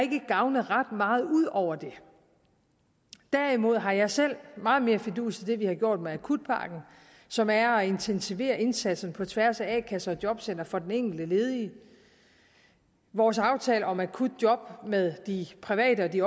gavnet ret meget ud over det derimod har jeg selv meget mere fidus til det vi har gjort med akutpakken som er at intensivere indsatsen på tværs af a kasser og jobcentre for den enkelte ledige vores aftale om akutjob med de private og de